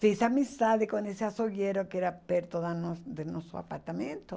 Fiz amizade com esse açougueiro que era perto da nossa de nosso apartamento.